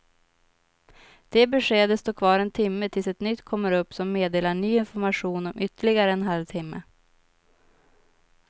Det beskedet står kvar en timme tills ett nytt kommer upp som meddelar ny information om ytterligare en halv timme.